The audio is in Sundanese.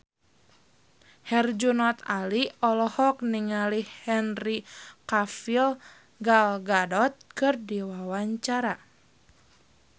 Herjunot Ali olohok ningali Henry Cavill Gal Gadot keur diwawancara